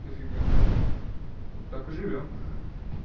вот так и живём